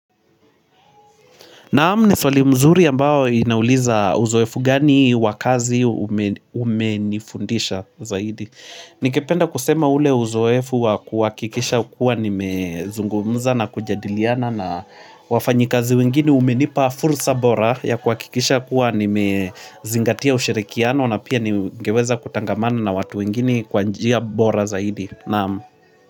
Naam, ni swali mzuri ambao inauliza uzoefu gani wa kazi umenifundisha zaidi. Ningependa kusema ule uzoefu wa kuhakikisha kuwa nimezungumza na kujadiliana na wafanyikazi wengine umenipa fursa bora ya kuhakikisha kuwa nimezingatia ushirikiano na pia ningeweza kutangamana na watu wengine kwa njia bora zaidi. Naam.